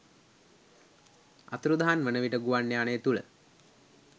අතුරුදහන් වන විට ගුවන් යානය තුළ